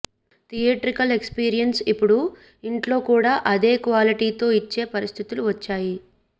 theatrical experience ఇపుడు ఇంట్లో కూడా అదే క్వాలిటీతో ఇచ్చే పరిస్థితులు వచ్చాయి